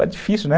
É difícil, né?